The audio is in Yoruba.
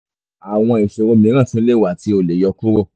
awọn ìṣòro mìíràn tún le wá tí o le yọ kúrò